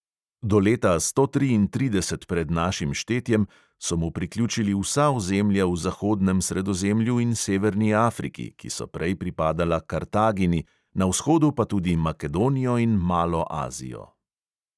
Do leta sto triintrideset pred našim štetjem so mu priključili vsa ozemlja v zahodnem sredozemlju in severni afriki, ki so prej pripadala kartagini, na vzhodu pa tudi makedonijo in malo azijo.